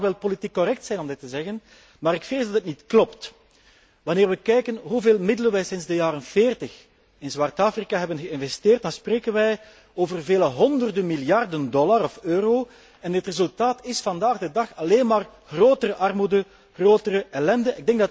Het mag wel politiek correct zijn om dit te zeggen, maar ik vrees dat het niet klopt. Wanneer wij kijken hoeveel middelen wij sinds de jaren veertig in zwart Afrika hebben geïnvesteerd, dan zien wij dat het gaat om vele honderden miljarden dollar of euro en het resultaat is vandaag de dag alleen maar grotere armoede en grotere ellende.